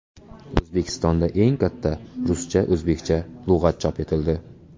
O‘zbekistonda eng katta ruscha-o‘zbekcha lug‘at chop etildi.